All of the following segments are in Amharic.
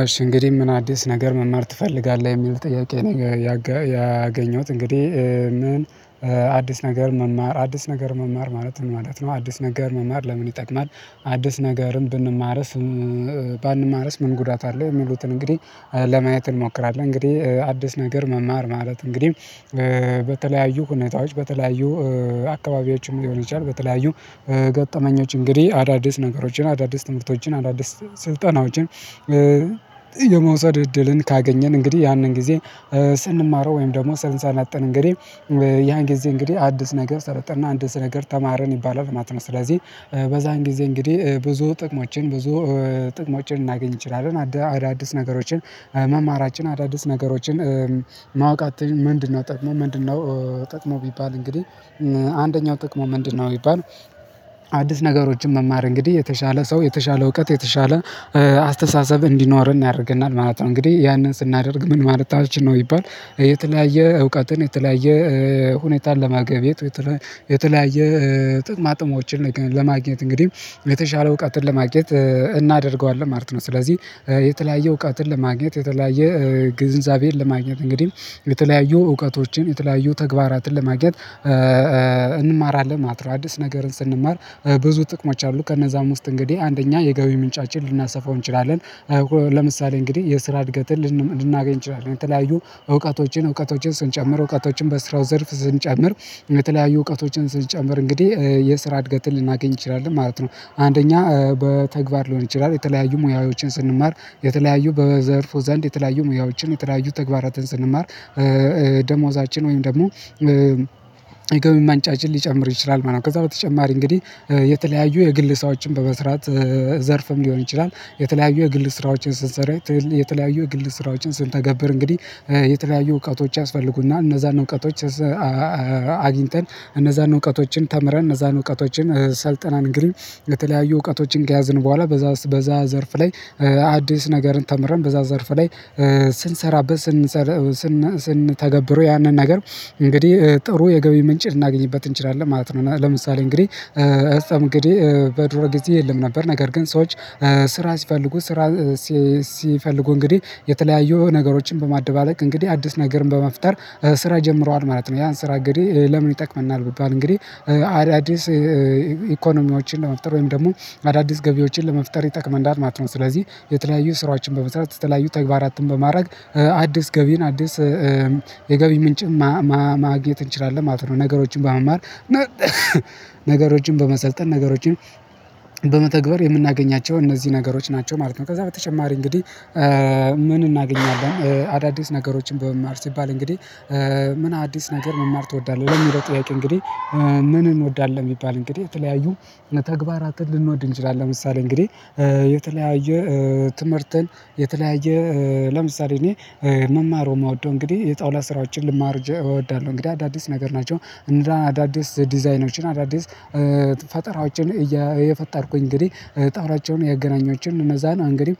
አሽ እንግዲህ ምን አዲስ ነገር መማር ትፈልጋለህ የሚል ጥያቄ ነገር ያገኘሁት እንግዲህ ምን አዲስ ነገር መማር አዲስ ነገር መማር ማለት ነው ማለት ነው አዲስ ነገር መማር ለምን ይጠቅማል? አዲስ ነገርም ብንማርስ ባንማርስ ምን ጉዳት አለ የሚሉትን እንግዲህ ለማየት እንሞክራለን። እንግዲህ አዲስ ነገር መማር ማለት እንግዲህ በተለያዩ ሁኔታዎች በተለያዩ አካባቢዎችም ሊሆን ይችላል። በተለያዩ ገጠመኞች እንግዲህ አዳዲስ ነገሮችን አዳዲስ ትምህርቶችን አዳዲስ ስልጠናዎችን የመውሰድ እድልን ካገኘን እንግዲህ ያንን ጊዜ ስንማረው ወይም ደግሞ ስንሰለጥን እንግዲህ ያን ጊዜ እንግዲህ አዲስ ነገር ሰለጠንን እና አዲስ ነገር ተማርን ይባላል ማለት ነው። ስለዚህ በዛን ጊዜ እንግዲህ ብዙ ጥቅሞችን ብዙ ጥቅሞችን ልናገኝ እንችላለን። አዳዲስ ነገሮችን መማራችን አዳዲስ ነገሮችን ማወቀቻን ምንድነው ጥቅሙ ምንድነው ጥቅሙ? ቢባል እንግዲህ አንደኛው ጥቅሙ ምንድነው ቢባል አዲስ ነገሮችን መማር እንግዲህ የተሻለ ሰው የተሻለ እውቀት የተሻለ አስተሳሰብ እንዲኖርን ያደርገናል ማለት ነው። እንግዲህ ያንን ስናደርግ ምን ማለታችን ነው ቢባል የተለያየ እውቀትን የተለያየ ሁኔታን ለማገብየት የተለያየ ጥቅማጥቅሞችን ለማግኘት እንግዲህ የተሻለ እውቀትን ለማግኘት እናደርገዋለን ማለት ነው። ስለዚህ የተለያየ እውቀትን ለማግኘት የተለያየ ግንዛቤን ለማግኘት እንግዲህ የተለያዩ እውቀቶችን የተለያዩ ተግባራትን ለማግኘት እንማራለን ማለት ነው። አዲስ ነገርን ስንማር ብዙ ጥቅሞች አሉ ከነዛም ውስጥ እንግዲህ አንደኛ የገቢ ምንጫችን ልናሰፋው እንችላለን። ለምሳሌ እንግዲህ የስራ እድገትን ልናገኝ እንችላለን የተለያዩ እውቀቶችን እውቀቶችን ስንጨምር እውቀቶችን በስራው ዘርፍ ስንጨምር የተለያዩ እውቀቶችን ስንጨምር እንግዲህ የስራ እድገትን ልናገኝ እንችላለን ማለት ነው። አንደኛ በተግባር ሊሆን ይችላል የተለያዩ ሙያዎችን ስንማር የተለያዩ በዘርፉ ዘንድ የተለያዩ ሙያዎችን የተለያዩ ተግባራትን ስንማር ደሞዛችን ወይም ደግሞ የገቢ ማንጫችን ሊጨምር ይችላል ማለት ነው። ከዛ በተጨማሪ እንግዲህ የተለያዩ የግል ሰራዎችን በመስራት ዘርፍም ሊሆን ይችላል። የተለያዩ የግል ስራዎችን ስንሰራ የተለያዩ የግል ስራዎችን ስንተገብር እንግዲህ የተለያዩ እውቀቶች ያስፈልጉና እነዛን እውቀቶች አግኝተን እነዛን እውቀቶችን ተምረን እነዛን እውቀቶችን ሰልጥናን ግን የተለያዩ እውቀቶችን ከያዝን በኋላ በዛ በዛ ዘርፍ ላይ አዲስ ነገርን ተምረን በዛ ዘርፍ ላይ ስንሰራበት ስንሰራ ስንተገብረው ያንን ነገር እንግዲህ ጥሩ የገቢ ምንጭ ልናገኝበት እንችላለን ማለት ነው። ለምሳሌ እንግዲህ እስተምግዴ በድሮ ጊዜ የለም ነበር ነገር ግን ሰዎች ስራ ሲፈልጉ ስራ ሲፈልጉ እንግዲህ የተለያዩ ነገሮችን በማደባለቅ እንግዲህ አዲስ ነገርን በመፍጠር ስራ ጀምረዋል ማለት ነው። ያን ስራ እንግዲህ እንግዲህ ለምን ይጠቅመናል? ቢባል እንግዲህ አዳዲስ ኢኮኖሚዎችን ለመፍጠር ወይም ደግሞ አዳዲስ ገቢዎችን ለመፍጠር ይጠቅመናል ማለት ነው። ስለዚህ የተለያዩ ስራዎችን በመስራት የተለያዩ ተግባራትን በማድረግ አዲስ ገቢን አዲስ የገቢ ምንጭም ማግኘት እንችላለን ማለት ነው። ነገሮችን በመማር ነገሮችን በመሰልጠን ነገሮችን በመተግበር የምናገኛቸው እነዚህ ነገሮች ናቸው ማለት ነው። ከዛ በተጨማሪ እንግዲህ ምን እናገኛለን አዳዲስ ነገሮችን በመማር ሲባል እንግዲህ ምን አዲስ ነገር መማር ትወዳለህ በሚለው ጥያቄ እንግዲህ ምን እንወዳለን የሚባል እንግዲህ የተለያዩ ተግባራትን ልንወድ እንችላለን። ለምሳሌ እንግዲህ የተለያየ ትምህርትን የተለያየ ለምሳሌ እኔ መማር የምወደው እንግዲህ የጣውላ ስራዎችን ልማር እወዳለሁ። እንግዲህ አዳዲስ ነገር ናቸው እንደ አዳዲስ ዲዛይኖችን አዳዲስ ፈጠራዎችን እየፈጠርኩኝ እንግዲህ ጣዋራቸውን ያገናኛቸውን እነዛን እንግዲህ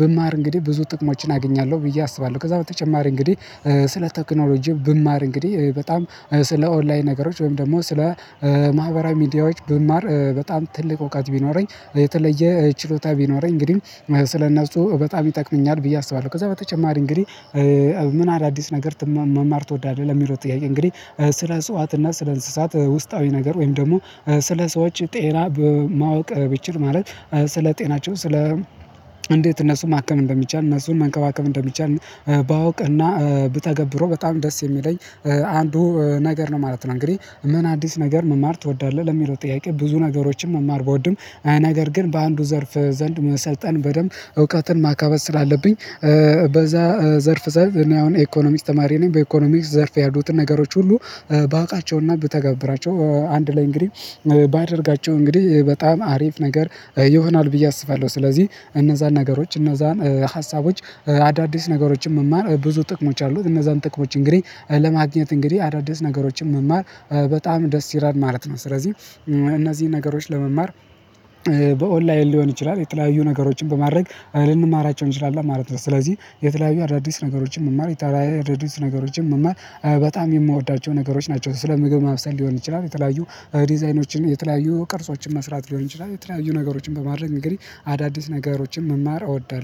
ብማር እንግዲህ ብዙ ጥቅሞችን አግኛለሁ ብዬ አስባለሁ ከዛ በተጨማሪ እንግዲህ ስለ ቴክኖሎጂም ብማር እንግዲህ በጣም ስለ ኦንላይን ነገሮች ወይም ደግሞ ስለ ማህበራዊ ሚዲያዎች ብማር በጣም ትልቅ እውቀት ቢኖረኝ የተለየ ችሎታ ቢኖረኝ እንግዲህ ስለነፃው በጣም ይጠቅመኛል ብዬ አስባለሁ። ከዛ በተጨማሪ እንግዲህ ምን አዳዲስ ነገር መማር ትወዳለህ ለሚለው ጥያቄ እንግዲህ ስለ እጽዋት እና ስለ እንስሳት ውስጣዊ ነገር ወይም ደግሞ ስለ ሰዎች ጤና በማወቅ ብችል ማለት ስለ ጤናቸው ስለ እንዴት እነሱን ማከም እንደሚቻል እነሱን መንከባከብ እንደሚቻል ባውቅና ብተገብረው በጣም ደስ የሚለኝ አንዱ ነገር ነው ማለት ነው። እንግዲህ ምን አዲስ ነገር መማር ትወዳለህ ለሚለው ጥያቄ ብዙ ነገሮችን መማር ብወድም አይ ነገር ግን በአንዱ ዘርፍ ዘንድ መሰልጠን በደንብ እውቀትን ማካበት ስላለብኝ በዛ ዘርፍ ዘርፍ እኔ አሁን የኢኮኖሚስ ተማሪ ነኝ በኢኮኖሚስ ዘርፍ ያሉትን ነገሮች ሁሉ ባውቃቸውና ብተገብራቸው አንድ ላይ እንግዲህ ባደርጋቸው እንግዲህ በጣም አሪፍ ነገር ይሆናል። ብዬ አስባለሁ። ስለዚህ እነዛን ነገሮች እነዛን ሀሳቦች አዳዲስ ነገሮችን መማር ብዙ ጥቅሞች አሉት እነዛን ጥቅሞች እንግዲህ ለማግኘት እንግዲህ አዳዲስ ነገሮችን መማር በጣም ደስ ይላል ማለት ነው። ስለዚህ እነዚህን ነገሮች ለመማር በኦንላይን ሊሆን ይችላል የተለያዩ ነገሮችን በማድረግ ልንማራቸው እንችላለን ማለት ነው። ስለዚህ የተለያዩ አዳዲስ ነገሮችን መማር የተለያዩ አዳዲስ ነገሮችን መማር በጣም የምወዳቸው ነገሮች ናቸው። ስለ ምግብ ማብሰል ሊሆን ይችላል። የተለያዩ ዲዛይኖችን የተለያዩ ቅርጾችን መስራት ሊሆን ይችላል። የተለያዩ ነገሮችን በማድረግ እንግዲህ አዳዲስ ነገሮችን መማር እወዳለሁ